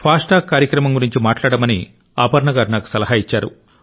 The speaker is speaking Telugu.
ఫాస్టాగ్ కార్యక్రమం గురించి మాట్లాడమని అపర్ణ గారు నాకు సలహా ఇచ్చారు